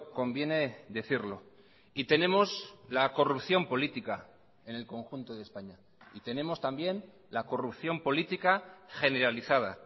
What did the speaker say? conviene decirlo y tenemos la corrupción política en el conjunto de españa y tenemos también la corrupción política generalizada